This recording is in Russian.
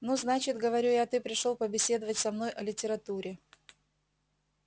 ну значит говорю я ты пришёл побеседовать со мной о литературе